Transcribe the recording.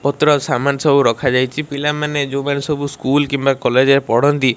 ପତ୍ର ସାମାନ୍ ସବୁ ରଖାଯାଇଛି ପିଲାମାନେ ଯୋଉମାନେ ସବୁ ସ୍କୁଲ କିମ୍ବା କଲେଜ୍ ରେ ପଢନ୍ତି।